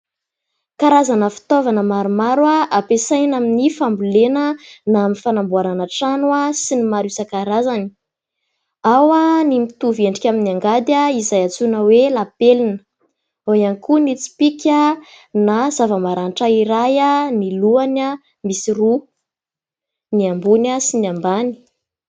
Karazana fitaovana maromaro ampiasaina amin'ny fambolena na amin'ny fanamboarana trano sy ny maro isan-karazany, ao ny mitovy endrika amin'ny angady izay antsoina hoe lapelina, ao ihany koa ny tsipika na zava-maranitra iray ny lohany misy roa ny ambony sy ny ambany.